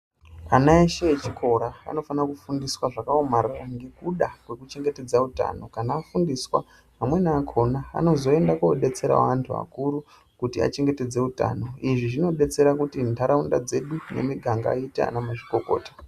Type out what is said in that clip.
Anaeshe echikora vanofana kufundiswa zvakaomarara ngekuda kwekuchengetedza utano kana afundiswa amweni achona anozoenda kobetsera anhu akuru kuti achengetedze utano izvi zvinobetserakuti nharaunda dzedu nemuganga iite ana mazvikokota